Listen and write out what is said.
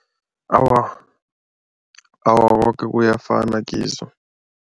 Awa, awa koke kuyafana kizo.